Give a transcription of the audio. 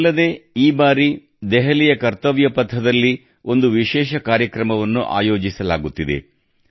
ಇದಲ್ಲದೇ ಈ ಬಾರಿ ದೆಹಲಿಯ ಕರ್ತವ್ಯಪಥದಲ್ಲಿ ಒಂದು ವಿಶೇಷ ಕಾರ್ಯಕ್ರಮವನ್ನು ಆಯೋಜಿಸಲಾಗುತ್ತಿದೆ